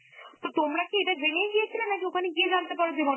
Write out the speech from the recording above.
তো তোমরা কি এটা জেনেই গিয়েছিলে নাকি ওখানে গিয়ে জানতে পারো যে